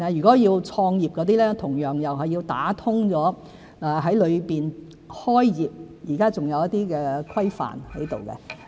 至於創業人士，同樣需要打通脈絡，因為現時在大灣區開業仍有一些規範。